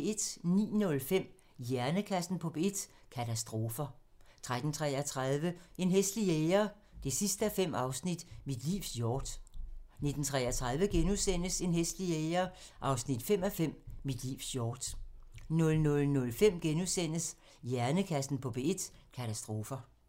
09:05: Hjernekassen på P1: Katastrofer 13:33: En hæslig jæger 5:5 – Mit livs hjort 19:33: En hæslig jæger 5:5 – Mit livs hjort * 00:05: Hjernekassen på P1: Katastrofer *